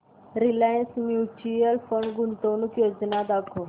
Reliance mutual fund गुंतवणूक योजना दाखव